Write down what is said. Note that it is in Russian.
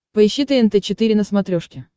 поищи тнт четыре на смотрешке